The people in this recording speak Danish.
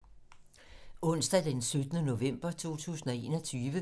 Onsdag d. 17. november 2021